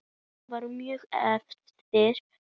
Þetta voru mjög erfiðir tímar.